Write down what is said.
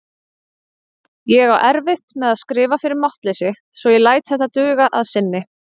Ég á erfitt með að skrifa fyrir máttleysi svo ég læt þetta duga að sinni.